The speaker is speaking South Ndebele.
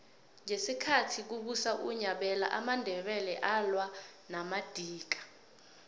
ngesikhathi kubusa unyabela amandebele alwa namadika